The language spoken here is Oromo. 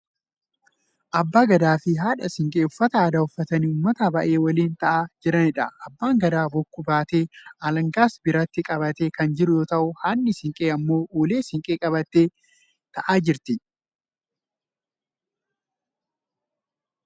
Abbaa Gadaa fi haadha siinqee uffata aadaa uffatanii uummata baay'ee waliin ta'aa jiraniidha.. Abbaan Gadaa bokkuu baatee, alangaas biratti qabatee kan jiru yoo ta'u, haadhi siinqee hammoo ulee siinqee qabattee ta'aa jirti